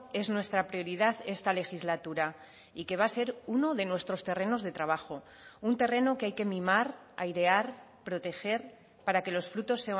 es nuestra prioridad esta legislatura y que va a ser uno de nuestros terrenos de trabajo un terreno que hay que mimar airear proteger para que los frutos